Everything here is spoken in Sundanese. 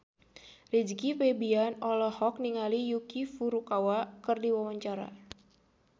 Rizky Febian olohok ningali Yuki Furukawa keur diwawancara